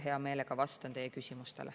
Hea meelega vastan teie küsimustele.